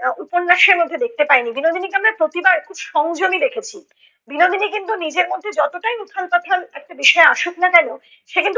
আহ উপন্যাসের মধ্যে দেখতে পাইনি। বিনোদিনীকে আমরা প্রতিবার খুব সংযমী দেখেছি। বিনোদিনী কিন্তু নিজের মধ্যে যতটাই উথাল পাথাল একটা বিষয় আসুক না কেন, সে কিন্তু